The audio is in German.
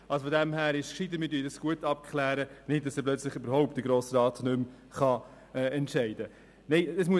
So gesehen ist es schlauer, wenn wir das gut abklären, damit es nicht so weit kommt, dass der Grosse Rat überhaupt nicht mehr entscheiden kann.